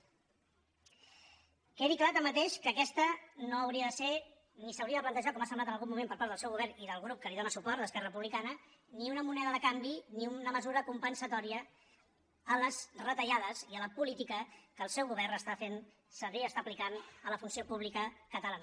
quedi clar tanmateix que aquesta no hauria de ser ni s’hauria de plantejar com ha semblat en algun moment per part del seu govern i del grup que li dóna suport d’esquerra republicana ni una moneda de canvi ni una mesura compensatòria a les retallades i a la política que el seu govern està fent servir i està aplicant a la funció pública catalana